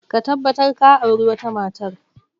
Ka tabbatar ka auri wata matar!